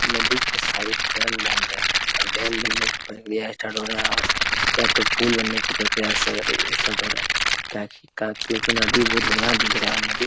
नदी के side dam बन रहा है ओर डेम बनने की प्रक्रिया स्टार्ट हो रहा है और या तो पूल बनाने की प्रक्रिया स स्टार्ट हो रहा हैका क्यू की नदी बहुत बढ़िया दिख रहा है और नदी --